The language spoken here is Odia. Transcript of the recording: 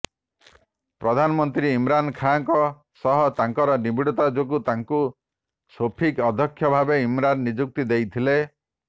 ପ୍ରଧାନମନ୍ତ୍ରୀ ଇମ୍ରାନ ଖାଁଙ୍କ ସହ ତାଙ୍କର ନିବିଡ଼ିତା ଯୋଗୁଁ ତାଙ୍କୁ ସୋପିକ୍ ଅଧ୍ୟକ୍ଷ ଭାବରେ ଇମ୍ରାନ ନିଯୁକ୍ତି ଦେଇଥିଲେ